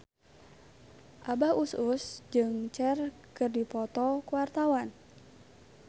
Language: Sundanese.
Abah Us Us jeung Cher keur dipoto ku wartawan